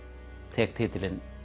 tek titilinn